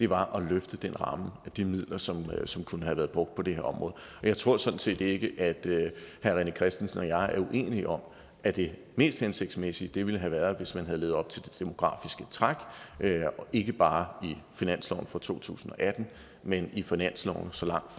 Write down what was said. var at løfte den ramme de midler som som kunne have været brugt på det her område jeg tror sådan set ikke at herre rené christensen og jeg er uenige om at det mest hensigtsmæssige ville have været hvis man havde levet op til det demografiske træk ikke bare i finansloven for to tusind og atten men i finanslovene så langt